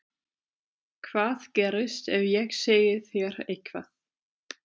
Hvað gerist ef ég segi þér eitthvað?